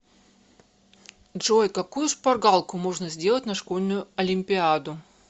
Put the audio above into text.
джой какую шпаргалку можно сделать на школьную олимпиаду